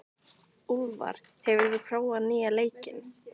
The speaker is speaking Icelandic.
Úlfar, hefur þú prófað nýja leikinn?